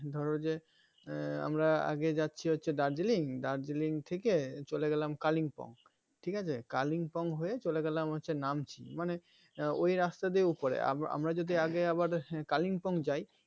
ধরো যে আহ আমরা আগে যাচ্ছি হচ্ছে darjiling, Darjeeling থেকে চলে গেলাম Kalimpong ঠিকাছে Kalimpong হয়ে চলে গেলাম হচ্ছে Namchi মানে ওই রাস্তা দিয়ে উপরেআমরা যদি উম আগে আবার Kalimpong যাই